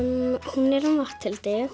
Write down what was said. hún er um Matthildi